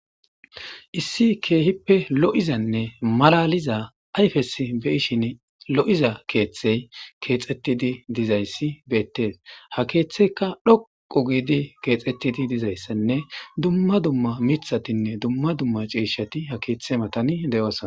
Issi keehippe lo7izanne malaliza ayfes beyishin lo7iza keeththey keexxettidi dizayssi beettees. Ha keeththeyka dhoqu giidi keexettidi dizayssanne dumma dumma mithatinne dumma dumma ciishati ha keeththe matani de7osona.